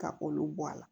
Ka olu bɔ a la